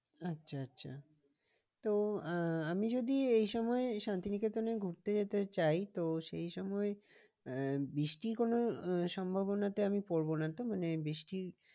আচ্ছা আচ্ছা তো আহ আমি যদি এই সময়ে শান্তিনিকেতনে ঘুরতে যেতে চাই তো সেই সময় আহ বৃষ্টি কোনো সম্ভবনাতে আমি পড়বো না তো মানে বৃষ্টির